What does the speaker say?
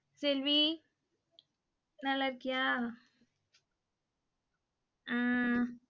செல்வி நல்லாருக்கியா ஹம்